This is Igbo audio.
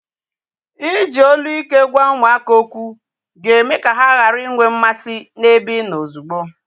Iji olu ike gwa ụmụaka okwu ga-eme ka ha ghara inwe mmasị na-ebe ịnọ ozugbo